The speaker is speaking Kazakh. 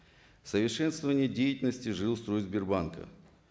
совершенствование деятельности жилстройсбербанк а